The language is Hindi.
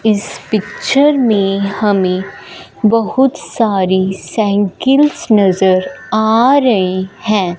इस पिक्चर में हमें बहोत सारी साइकिल्स नजर आ रही हैं।